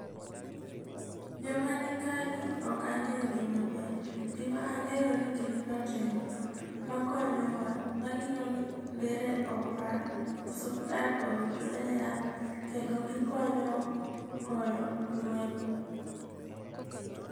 Joma ni kagi okange'yogi maber, gimange'yo ni gin jotendwa makonyowa, mangiyo ni ndere opa ,osuptal oyudre yath kendo gikonyo goyo lweny.